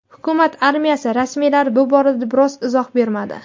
Hukumat armiyasi rasmiylari bu borada biror izoh bermadi.